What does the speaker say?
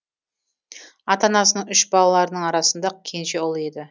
ата анасының үш балаларының арасында кенже ұлы еді